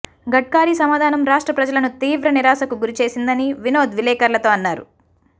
గడ్కారీ సమాధానం రాష్ట్ర ప్రజలను తీవ్ర నిరాశకు గురిచేసిందని వినోద్ విలేకర్లతో అన్నారు